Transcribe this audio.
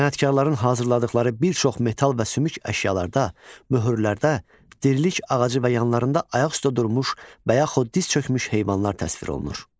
Sənətkarların hazırladıqları bir çox metal və sümük əşyalarda, möhürlərdə dirilik ağacı və yanlarında ayaq üstə durmuş və yaxud diz çökmüş heyvanlar təsvir olunur.